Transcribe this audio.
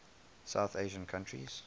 south asian countries